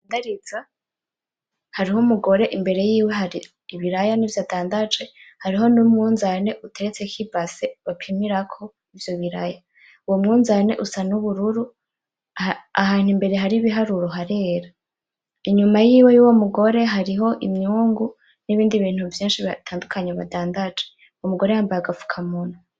Mpagariza hariho umugore imbere yiwe hari ibiraya nivyo adandaje, hariho numunzane uteretseko ibase bapimirako ivyo biraya , uwo munzane usa n'ubururu , ahantu imbere hari ibiharuro harera , inyuma yiwe yuwo mugore hariho imyungu nibindi bintu vyinshi bitandukanye badandaje , uwo mugore yambaye agafukamunwa .